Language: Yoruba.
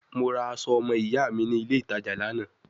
Mo ra aso omo iya mi ni ile itaja Lana